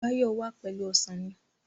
Báyọ̀ wà pẹ̀lú Ọsàn mi